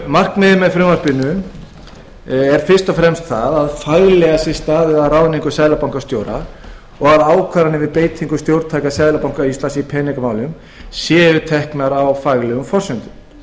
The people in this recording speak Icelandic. markmiðið með frumvarpinu er fyrst og fremst að faglega sé staðið að ráðningu seðlabankastjóra og að ákvarðanir við beitingu stjórntækja seðlabanka íslands í peningamálum séu teknar á faglegum forsendum